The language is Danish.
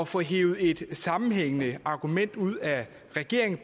få hevet et sammenhængende argument ud af regeringen